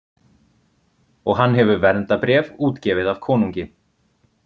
Og hann hefur verndarbréf, útgefið af konungi.